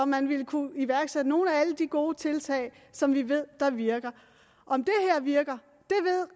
man ville kunne iværksætte nogle af alle de gode tiltag som vi ved virker om det her virker